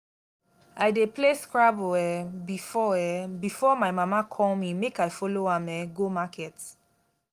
i dey play scrabble um before um before my mama call me make i follow am um go market